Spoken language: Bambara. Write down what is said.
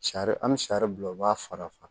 Sari an bɛ sari bila u b'a fara fara